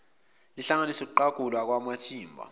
lihlanganise ukuqagulwa kwamathimba